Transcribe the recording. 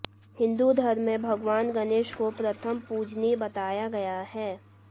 हिन्दू धर्म में भगवान गणेश को प्रथम पूजनीय बताया गया है